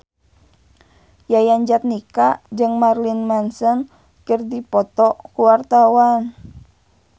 Yayan Jatnika jeung Marilyn Manson keur dipoto ku wartawan